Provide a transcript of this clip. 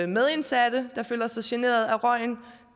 medindsatte der føler sig generet af røgen